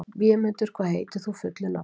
Vémundur, hvað heitir þú fullu nafni?